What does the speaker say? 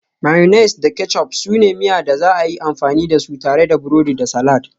Mayonnaise da ketchup su ne miya da za a iya amfani da su tare da burodi da salad